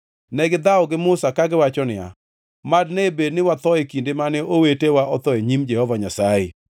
Negidhawo gi Musa kagiwacho niya, “Mad ne bed ni watho e kinde mane owetewa otho e nyim Jehova Nyasaye!